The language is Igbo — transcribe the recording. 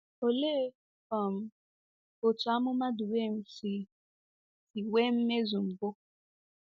Olee um otú amụma Dubem si si nwee mmezu mbụ?